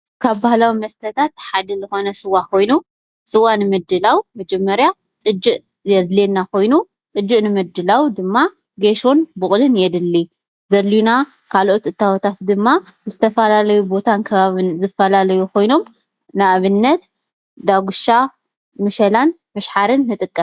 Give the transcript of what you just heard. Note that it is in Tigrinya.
ካብ ባህላዊ መስተታት ሓደ ስዋ ኮይኑ ስዋ ንምድላዉ መጀመርታ ጥጅእ የድለየና ኮይኑ ጥጅእ ንምድላዉ ጌሶን ቡቁልን የድሊ ዘድልዩና ካልኦት እታዎት ደማ ዝተፋላለዩ ቦታን ከባብን ይፋለለ ኮይኑመ ንኣብነት ዳጉሻን፣ መሸላን፣ ምሻሓረ ንጥቀም